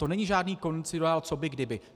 To není žádný kondicionál co by kdyby.